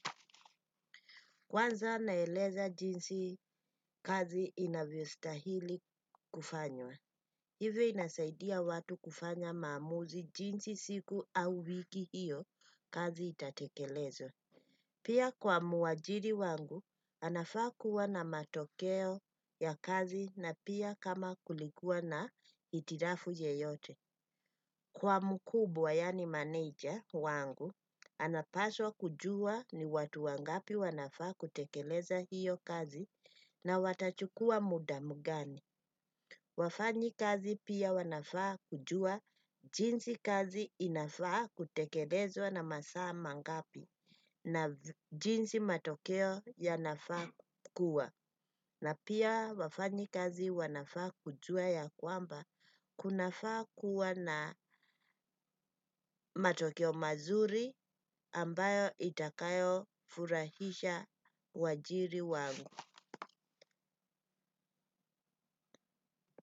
Kwanza naeleza jinsi kazi inavyo stahili kufanywa. Hivyo inasaidia watu kufanya maamuzi jinsi siku au wiki hiyo kazi itatekelezwa. Pia kwa muajiri wangu, anafaa kuwa na matokeo ya kazi na pia kama kulikuwa na itirafu yeyote. Kwa mkubwa yani manager wangu, anapaswa kujua ni watu wangapi wanafaa kutekeleza hiyo kazi na watachukua muda gani. Wafanya kazi pia wanafaa kujua jinsi kazi inafaa kutekelezwa na masaa ma ngapi na jinsi matokeo yanafaa kuwa. Na pia wafanya kazi wanafaa kujua ya kwamba kunafaa kuwa na matokeo mazuri ambayo itakayo furahisha wajiri wangu.